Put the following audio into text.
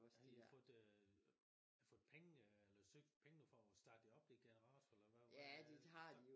Har de fået fået penge eller søgt pengene for at starte det op det Generator eller hvad hvad?